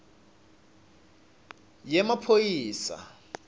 yemaphoyisa